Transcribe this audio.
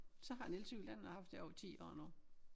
Så har jeg en elcykel den har jeg haft i over 10 år nu